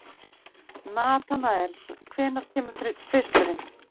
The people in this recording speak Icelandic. Natanael, hvenær kemur tvisturinn?